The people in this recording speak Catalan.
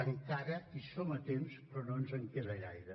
encara hi som a temps però no ens en queda gaire